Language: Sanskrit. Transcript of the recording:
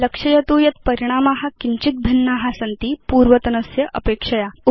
लक्षयतु यत् परिणामा किञ्चित् भिन्ना सन्ति पूर्वतनस्य अपेक्षया